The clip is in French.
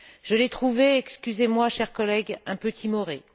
Je l'ai trouvée excusez moi, chers collègues un peu timorée.